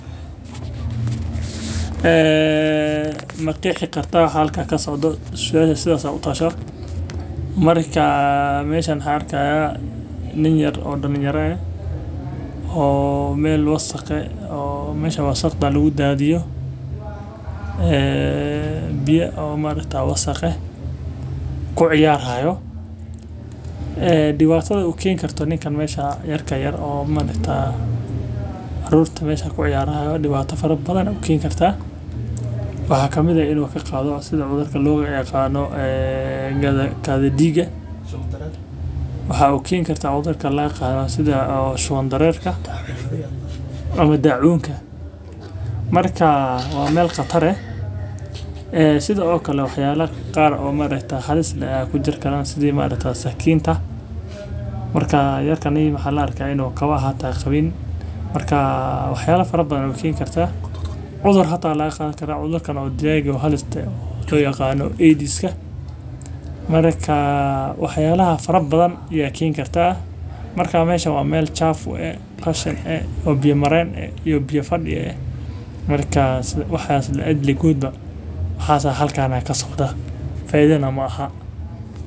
Ma qexii kartaa waxa halkan ka socda su aasha sidaas aa u tashaa marka meeshan waxan arki hayaa nin yar oo dhalinyaro.oo mel wasaq ah oo meesha wasaqda lagu daadiyo, biya wasq ah kuciyar hayo. Dhibaatada ku keeni karto ninkan meesha yar ka yar oo manta ah. Carruurta meesha ku yaalla ayaa dhibaato fara badan u keeni karta. Waxaa ka kow Waxa uu keeni karta cudurka loo yiqano sida kadhi diga sidha shuban darerka ama daacuunka markaa waa meel qatar eh. ee sidha o kale in uu ka qaado sida madaxda loo yaqaano ee gadiga su'aal. Waxa uu keeni karta cudurka loo qaado sida al shabaab dareerka dhacay ama daacuunka markaa meel qare. Ayaa sidoo kale waxyeelo qaar oo mareegta halis dhinaca ku jira sidii sidhaamaarataye sakinta markaasi keenta markaa kani waa la arkay kabaha hata kabaha qabin markaa wax yeelo fara badan kartaa cudur haatan la qaatay cudur kale oo digay halista yaqaano ee aidiska marka wax yalaha faraha abdan aa keni karta marka meshaan waa mel chafu eh , qashin eh , biya maren eh iyo biyo fadhi eh waxas lajac ligodba aya halkan kasocdan , faidana maahan.